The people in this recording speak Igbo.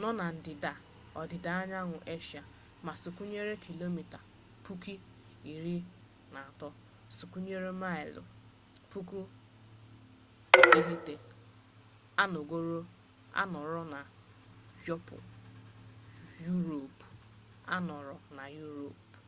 nọ na ndịda ọdịda anyanwụ eshia ma sụkwịya kilomita 23,764 sụkwịya maịlụ 9174 anọrọ na yuropu